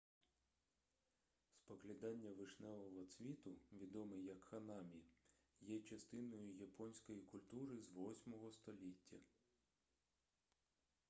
споглядання вишневого цвіту відоме як ханамі є частиною японської культури з 8-го століття